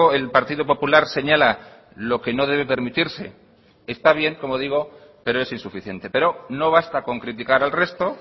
el partido popular señala lo que no debe permitirse está bien como digo pero es insuficiente pero no basta con criticar al resto